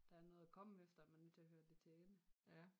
Der er noget at komme efter man er nødt til at høre det til ende